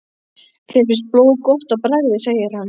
Þér finnst blóð gott á bragðið segir hann.